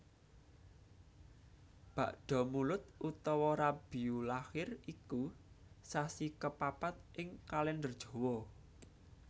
Bakdamulud utawa Rabiulakhir iku sasi kapapat ing Kalèndher Jawa